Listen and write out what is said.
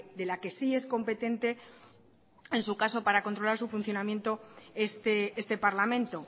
de la que sí es competente en su caso para controlar su funcionamiento este parlamento